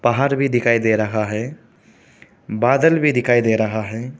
बाहर भी दिखाई दे रहा है बादल भी दिखाई दे रहा है।